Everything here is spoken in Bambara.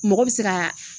Mɔgɔ bɛ se ka